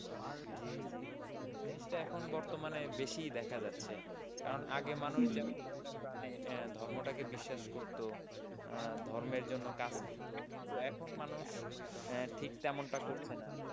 জি জি এখন বর্তমানে বেশি দেখা যাচ্ছে কারণ আগে মানুষ যেমন মনেপ্রাণে ধর্মটাকে বিশ্বাস করত, ধর্মের জন্য কাজ করত, এখন মানুষ ঠিক তেমনটা করছে না।